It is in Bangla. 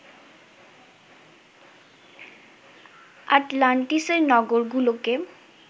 আটলান্টিসের নগরগুলোকে